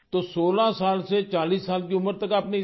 तो 16 साल से 40 साल की उम्र तक आपने इसका